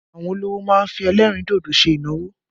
Àwọn olówò má ń fi ẹlẹ́rìn dodo ṣe ìnáwó